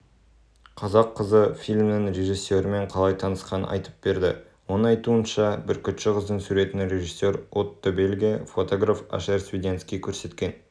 қазақ қызы фильмнің режиссерімен қалай танысқанын айтып берді оның айтуынша бүркітші қыздың суретін режиссер отто беллге фотограф ашер свиденский көрсеткен